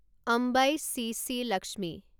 অম্বাই চি চি লক্ষ্মী